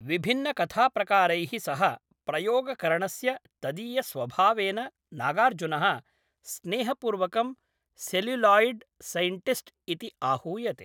विभिन्नकथाप्रकारैः सह प्रयोगकरणस्य तदीयस्वभावेन नागार्जुनः स्नेहपूर्वकं 'सेल्युलोयिड् सैण्टिस्ट्' इति आहूयते।